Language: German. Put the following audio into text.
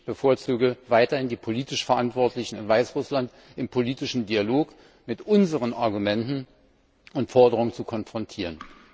Ich bevorzuge, die politisch Verantwortlichen in Weißrussland im politischen Dialog weiterhin mit unseren Argumenten und Forderungen zu konfrontieren.